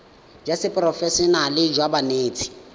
jwa seporofe enale jwa banetshi